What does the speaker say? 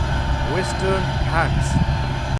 western Ghats